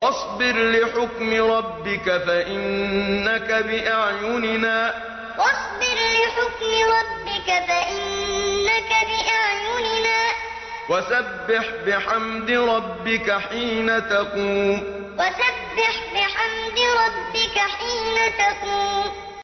وَاصْبِرْ لِحُكْمِ رَبِّكَ فَإِنَّكَ بِأَعْيُنِنَا ۖ وَسَبِّحْ بِحَمْدِ رَبِّكَ حِينَ تَقُومُ وَاصْبِرْ لِحُكْمِ رَبِّكَ فَإِنَّكَ بِأَعْيُنِنَا ۖ وَسَبِّحْ بِحَمْدِ رَبِّكَ حِينَ تَقُومُ